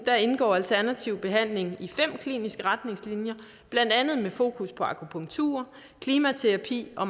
indgår alternativ behandling i fem kliniske retningslinjer blandt andet med fokus på akupunktur klimaterapi og